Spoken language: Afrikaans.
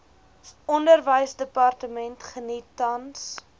onderwysdepartement geniet tans